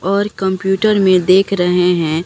और कंप्यूटर में देख रहे हैं।